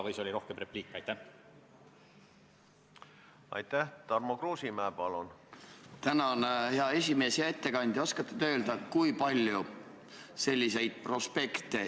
Kas oli arutelu selle üle, et artikkel 15 reguleerib raudteeveo-ettevõtja vastutust hilinemise, ühendusreisist mahajäämise ja reisi tühistamise eest?